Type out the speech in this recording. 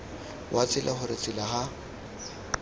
wa tsela gore tsela ga